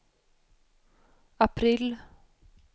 april